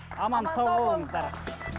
аман сау болыңыздар